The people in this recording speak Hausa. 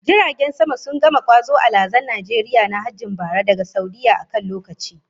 Jiragen sama sun gama kwazo alhazan Najeriya na hajjin bara daga Saudiyyah a kan lokaci